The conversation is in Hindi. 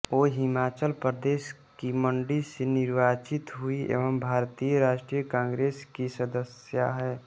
वो हिमाचल प्रदेश की मंडी से निर्वाचित हुईं एवं भारतीय राष्ट्रीय कांग्रेस की सदस्या हैं